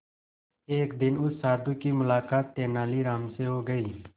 एक दिन उस साधु की मुलाकात तेनालीराम से हो गई